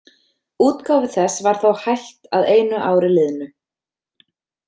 Útgáfu þess var þó hætt að einu ári liðnu.